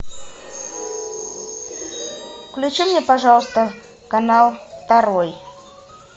включи мне пожалуйста канал второй